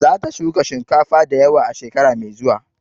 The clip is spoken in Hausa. Za ta shuka shinkafa da yawa a shekara mai zuwa.